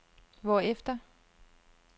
hvorefter